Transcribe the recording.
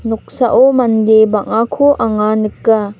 noksao mande bang·ako anga nika.